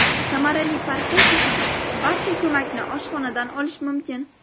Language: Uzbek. Samarali parhez uchun barcha ko‘makni oshxonadan olish mumkin.